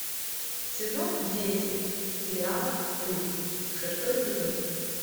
сезон десять сериал стыд шестой эпизод